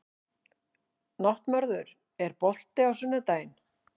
Náttmörður, er bolti á sunnudaginn?